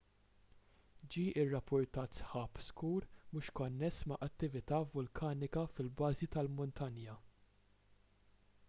ġie rrappurtat sħab skur mhux konness ma' attività vulkanika fil-bażi tal-muntanja